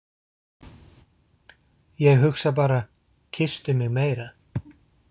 Ég hugsa bara: Kysstu mig meira.